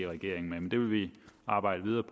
regeringen med men det vil vi arbejde med